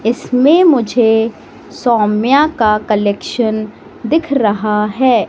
इसमें मुझे सौम्या का कलेक्शन दिख रहा है।